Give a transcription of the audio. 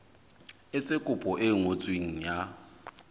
etse kopo e ngotsweng ya